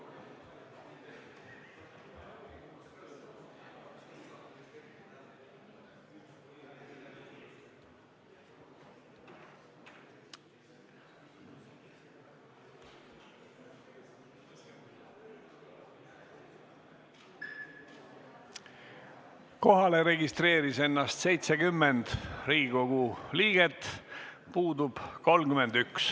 Kohaloleku kontroll Kohalolijaks registreeris ennast 70 Riigikogu liiget, puudub 31.